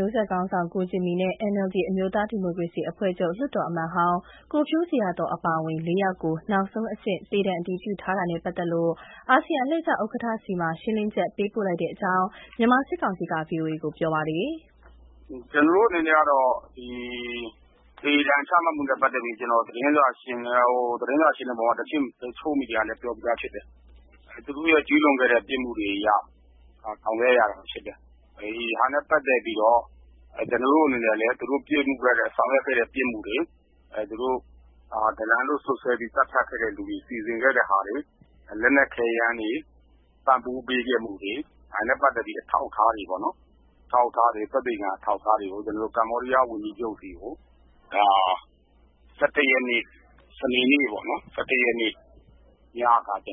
ျိုးဆက်ခေါင်းဆောင် ကိုဂျင်မီနဲ့ NLD အမျိုးသားဒီမိုကရေစီအဖွဲ့ချုပ် လွှတ်တော်အမတ်ဟောင်း ကိုဖြိုးဇေယျာသော်အပါအဝင် (၄) ဦးကို နောက်ဆုံးအဆင့် သေဒဏ်အတည်ပြုထားနဲ့ပတ်သက်လို့ အာဆီယံအလှည့်ကျ ဥက္ကဋ္ဌဆီ ရှင်းလင်းချက် ပေးပို့လိုက်တဲ့အကြောင်း မြန်မာစစ်ကောင်စီက VOA ကို ပြောပါတယ်။ “ကျနော်တို့အနေနဲ့ကတော့ သေဒဏ်ချမှတ်မှုနဲ့ပတ်သက်ပြီး သတင်းစာရှင်းလင်းပွဲမှာ တချို့မီဒီယာတွေကိုလည်း ပြောပြီးသားဖြစ်တယ်။ သူတို့ရဲ့ကျူးလွန်ခဲ့တဲ့ပြစ်မှု တွအရ ဆောင်ရွက်ရတာဖြစ်တယ်။ သူတို့ဆောင်ရွက်ခဲ့တဲ့ပြစ်မှုတွေ၊ ဒလန်လို့ စွပ်စွဲပြီးသတ်ဖြတ်ခဲ့တာတွေ၊ သူတို့စီစဉ်ခဲ့တာတွေ၊ လက်နက်ခဲယမ်းပံ့ပိုးပေးခဲ့မှုတွေ၊ သက်သေခံအထောက်အထားတွေကို ကမ္ဘောဒီးယားဝန်ကြီးချုပ်ဆီကို စနေနေ့ ၁၁ ရက်နေ့ညက အစုံ